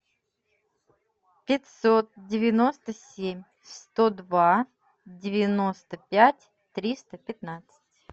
пятьсот девяносто семь сто два девяносто пять триста пятнадцать